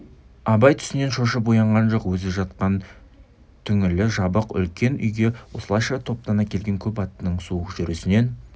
абай түсінен шошып оянған жоқ өзі жатқан түңлігі жабық үлкен үйге осылайша топтана келген көп аттының суық жүрісінен